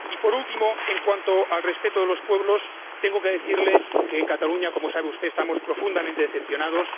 Y, por último, en cuanto al respeto de los pueblos, tengo que decirle que en Cataluña, como sabe usted, estamos profundamente decepcionados.